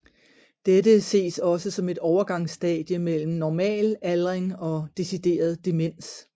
Dette ses også som et overgangsstadie mellem normal aldring og decideret demens